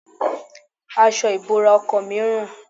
Aṣọ ìbora ọkọ mi ń rùn.